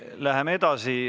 Läheme edasi.